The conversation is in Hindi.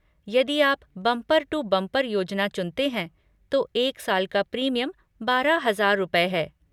यदि आप बम्पर टू बम्पर योजना चुनते हैं, तो एक साल का प्रीमियम बारह हजार रुपये है।